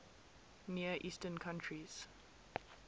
near eastern countries